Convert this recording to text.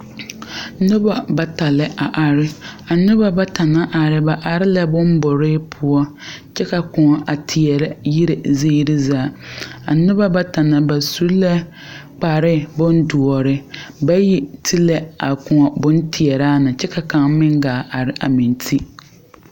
Neba bata la a are. A noba bata naŋ are, ba are la boŋ bure poʊ. Kyɛ ka a koɔ a teɛrɛ yire ziire zaa. A neba bata na ba su la kpare bon duore. Bayi te la a koɔ boŋ teɛra na kyɛ ka kanga meŋ gaa are a meŋ te.